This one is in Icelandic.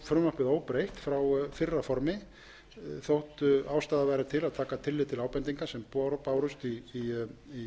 frumvarpið óbreytt frá fyrra formi þótt ástæða væri til að taka tillit til ábendinga sem bárust í